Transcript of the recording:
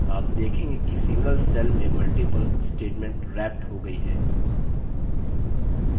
आप देखेंगे कि single cell में multiple statements रैप्ट हो गई हैं